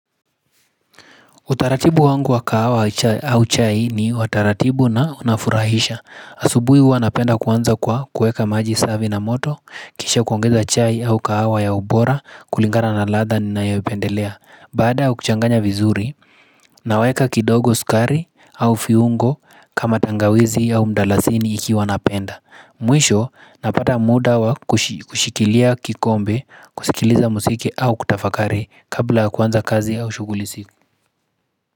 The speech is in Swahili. Utaratibu wangu wa kahawa au chai ni wa taratibu na unafurahisha. Asubui huwa napenda kuanza kwa kueka maji savi na moto, kisha kuongeza chai au kahawa ya ubora, kulingana na ladha ninayopendelea. Baada ya kuchanganya vizuri, naweka kidogo sukari au fiungo kama tangawizi au mdalasini ikiwa napenda. Mwisho, napata muda wa kushikilia kikombe, kushikiliza musiki au kutafakari kabla kuanza kazi au shuguli usiku.